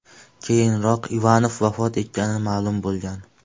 Keyinroq Ivanov vafot etgani ma’lum bo‘lgan.